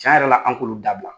Ca yɛrɛ la an k'olu dabila